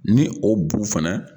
Ni o bu fɛnɛ